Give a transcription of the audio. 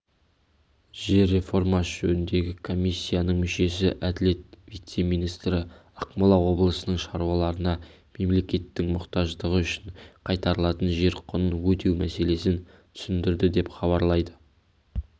жер реформасы жөніндегі комиссияның мүшесі әділет вице-министрі ақмола облысының шаруаларына мемлекеттің мұқтаждығы үшін қайтарылатын жер құнын өтеу мәселесін түсіндірді деп хабарлайды